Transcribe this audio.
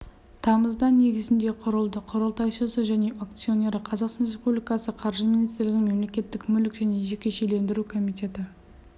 тамызда негізінде құрылды құрылтайшысы және акционері қазақстан республикасы қаржы министрлігінің мемлекеттік мүлік және жекешелендіру комитеті